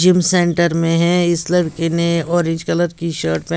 gym centre में हैं इस लड़के ने ऑरेंज कलर की शर्ट --